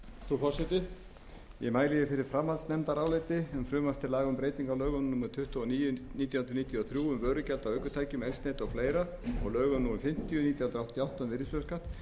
frumvarp til laga um breyting á lögum númer tuttugu og níu nítján hundruð níutíu og þrjú um vörugjald af ökutækjum eldsneyti og fleiri og lögum númer fimmtíu nítján hundruð áttatíu og